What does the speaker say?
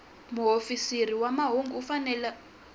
muofisiri wa mahungu u fanele